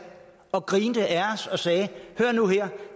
og grinede og sagde hør nu her